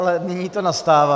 Ale nyní to nastává.